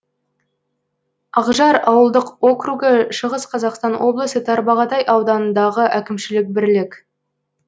ақжар ауылдық округі шығыс қазақстан облысы тарбағатай ауданындағы әкімшілік бірлік